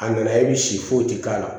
A nana e bi si foyi ti k'a la